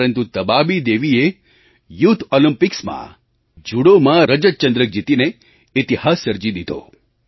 પરંતુ તબાબી દેવીએ યુથ olympicsમાં જુડોમાં રજત ચંદ્રક જીતીને ઇતિહાસ સર્જી દીધો